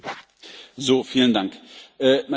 Meine Damen und Herren, liebe Kolleginnen und Kollegen!